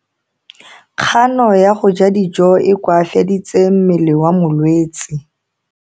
Kgano ya go ja dijo e koafaditse mmele wa molwetse.